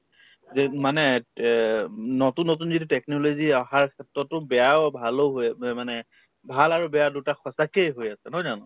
যে উম মানে তে উম নতুন নতুন যিটো technology অহাৰ ক্ষেত্ৰতো বেয়াও ভালো হৈ মানে ভাল আৰু বেয়া দুটা সঁচাকে হৈ আছে নহয় জানো